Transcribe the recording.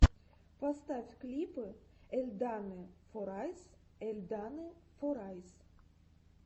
поставь клипы эльданы форайс эльданы форайс